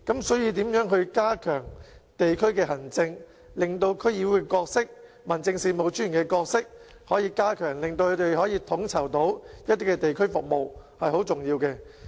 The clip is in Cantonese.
所以，如何加強地區行政、加強區議會和民政事務專員的角色，令他們能夠統籌一些地區服務，是相當重要的。